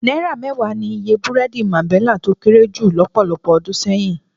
Náírà mẹ́wàá ni iye búrẹ́dì Máńbẹlà tó kéré jù lọ́pọ̀lọpọ̀ ọdún sẹ́yìn.